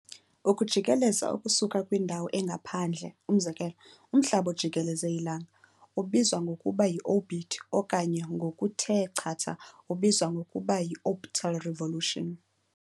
Ukujikeleza okusuka kwindawo engaphandle, umzekelo umhlaba ojikeleze ilanga, ubizwa ngokuba yi-"orbit" okanye ngokuthe chatha ubizw ngokuba yi-"orbital revolution."